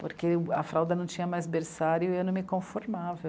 Porque a fralda não tinha mais berçário e eu não me conformava.